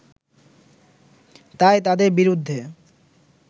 তাই তাদের বিরুদ্ধে